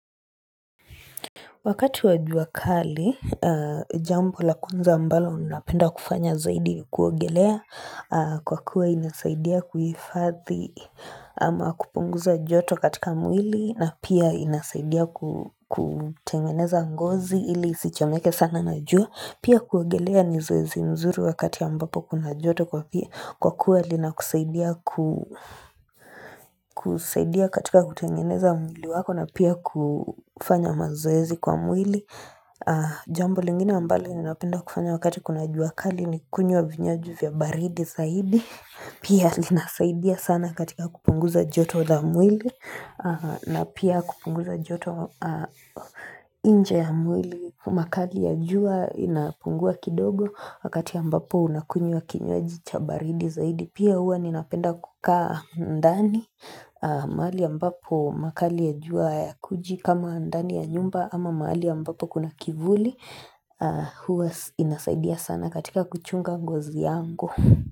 Wakati wa jua kali, jambo la kwanza ambalo napenda kufanya zaidi kuogelea kwa kuwa inasaidia kuhifadhi ama kupunguza joto katika mwili na pia inasaidia kutengeneza ngozi ili isichomeke sana na jua. Pia kuogelea ni zoezi zuri wakati ya ambapo kuna joto kwa kuwa linakusaidia ku,,,, kusaidia katika kutengeneza mwili wako na pia kufanya mazoezi kwa mwili. Jambo lingine ambalo ninapenda kufanya wakati kuna jua kali ni kunywa vinywaji vya baridi zaidi. Pia linasaidia sana katika kupunguza joto la mwili na pia kupunguza joto nje ya mwili makali ya jua inapungua kidogo Wakati ambapo unakunywa kinywaji cha baridi zaidi Pia huwa ninapenda kukaa ndani mahali ambapo makali ya jua hayakuji kama ndani ya nyumba ama mahali ambapo kuna kivuli huwa inasaidia sana katika kuchunga ngozi yangu.